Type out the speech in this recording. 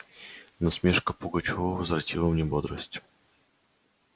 насмешка пугачёва возвратила мне бодрость